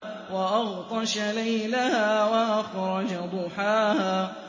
وَأَغْطَشَ لَيْلَهَا وَأَخْرَجَ ضُحَاهَا